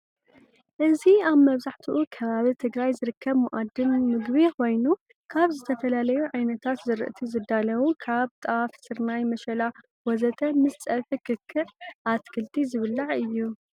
እዚ አብ መብዛሕትኡ ከባቢ ትግራይ ዝርከብ መአዲ ምግቢ ኮይኑ ካብ ዝተፈላለዩ ዓይነታት ዝርአቲ ዝዳለው ካብ ጣፈ፣ ስርናይ፣ ምሸላ፣ ወዘተ ምስ ፀብሒ ክክዕ፣ አትክልቲ ዝብላዕ እዩ።